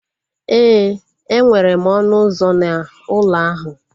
Éè, enwere ọnụ ụzọ na ụlọ ahu